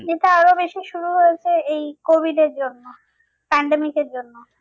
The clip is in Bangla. এটা আরো বেশি শুরু হয়েছে এই covid এর জন্য pandemic এর জন্য